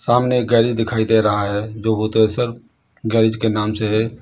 सामने एक गैरेज दिखाई दे रहा है जो भूतेश्वर गैरेज के नाम से है।